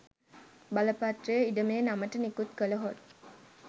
බලපත්‍රය ඉඩමේ නමට නිකුත් කළහොත්